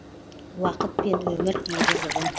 уақыт пен өмір егіз ұғым